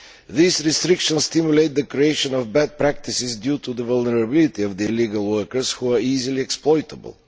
These restrictions stimulate the creation of bad practices, due to the vulnerability of the illegal workers who are easily exploitable.